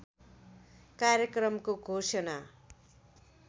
कार्यक्रमको घोषणा